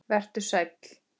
Vertu sæll.